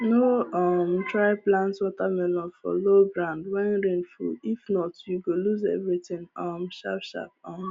no um try plant watermelon for low ground when rain full if not you go lose everything um sharp sharp um